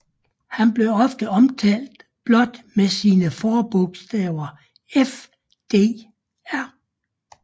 Han blev ofte omtalt blot med sine forbogstaver FDR